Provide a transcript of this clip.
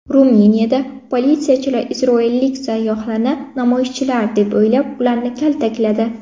Ruminiyada politsiyachilar isroillik sayyohlarni namoyishchilar deb o‘ylab, ularni kaltakladi .